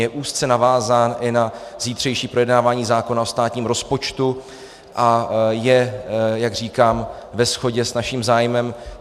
Je úzce navázán i na zítřejší projednávání zákona o státním rozpočtu a je, jak říkám, ve shodě s naším zájmem.